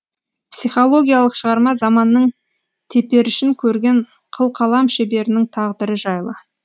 психологиялық шығарма заманның теперішін көрген қылқалам шеберінің тағдыры жайлы